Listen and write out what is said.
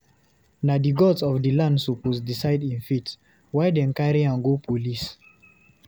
Na gods of di land suppose decide im fate, why dem carry am go police?